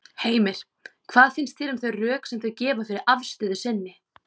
Heimir: Hvað finnst þér um þau rök sem þau gefa fyrir afstöðu sinni?